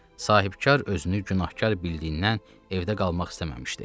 Sahibkar özünü günahkar bildiyindən evdə qalmaq istəməmişdi.